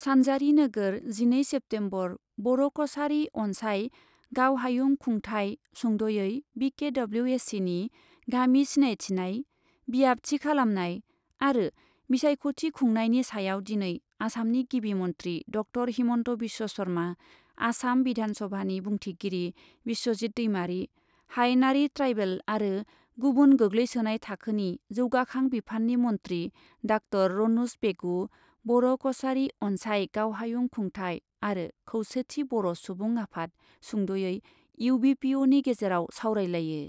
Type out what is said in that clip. सान्जारि नोगोर, जिनै सेप्तेम्बर, बर' कछारी अन्साय गावहायुं खुंथाइ सुंद'यै बि के डब्लिउ ए सिनि गामि सिनायथिनाय, बियाब थि खालामनाय आरो बिसायख'थि खुंनायनि सायाव दिनै आसामनि गिबि मन्थ्रि ड. हिमन्त बिश्व शर्मा, आसाम बिधान सभानि बुंथिगिरि बिश्वजित दैमारी, हायेनारि ट्राइबेल आरो गुबुन गोग्लैसोनाय थाखोनि जौगाखां बिफाननि मन्थ्रि डा. रन'ज पेगु, बर' कछारी अन्साय गावहायुं खुंथाइ आरो खौसेथि बर' सुबुं आफाद सुंद'यै एउ बि पि अनि गेजेराव सावरायलायो।